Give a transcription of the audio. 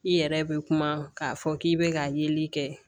I yɛrɛ bɛ kuma k'a fɔ k'i bɛ ka yeli kɛ